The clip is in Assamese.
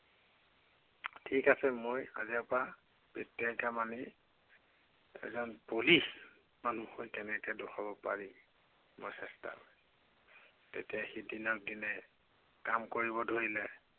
ঠিক আছে। মই কালিৰে পৰাই ঠিকছে খাম আৰু এজন বলি মানুহ হৈ কেনেকে দেখুৱাব পাৰি মই চেষ্টা কৰিম। তেতিয়া সি দিনক দিনে কাম কৰিবলৈ ধৰিলে।